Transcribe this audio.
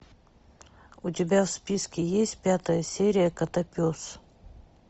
у тебя в списке есть пятая серия котопес